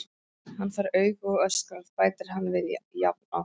Hann fær augu og öskrar, bætir hann við jafn oft.